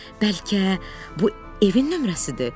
Bəlkə bu evin nömrəsidir?